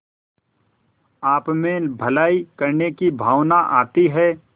आपमें भलाई करने की भावना आती है